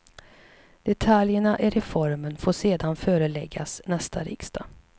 Detaljerna i reformen får sedan föreläggas nästa riksdag.